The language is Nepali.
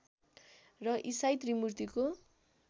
र ईसाई त्रिमूर्तिको